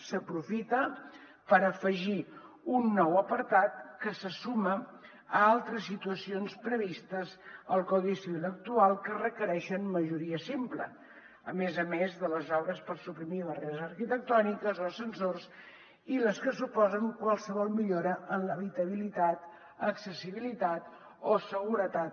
s’aprofita per afegir un nou apartat que se suma a altres situacions previstes al codi civil actual que requereixen majoria simple a més a més de les obres per suprimir barreres arquitectòniques o ascensors i les que suposen qualsevol millora en l’habitabilitat accessibilitat o seguretat